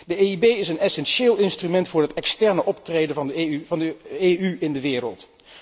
De EIB is een essentieel instrument voor het externe optreden van de EU in de wereld.